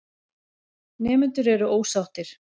Nemendur eru ósáttir.